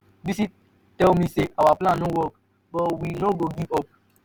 bisi tell me say our plan no work but we no go give up.